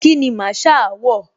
Kíni Masaa wọ̀?